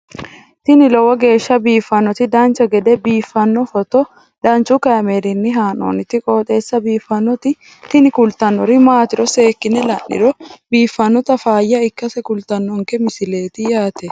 tini lowo geeshsha biiffannoti dancha gede biiffanno footo danchu kaameerinni haa'noonniti qooxeessa biiffannoti tini kultannori maatiro seekkine la'niro biiffannota faayya ikkase kultannoke misileeti yaate